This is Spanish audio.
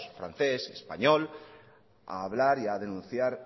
francés español a hablar y a denunciar